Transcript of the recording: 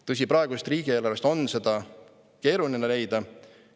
Tõsi, praegusest riigieelarvest on seda keeruline leida.